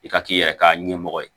I ka k'i yɛrɛ ka ɲɛmɔgɔ ye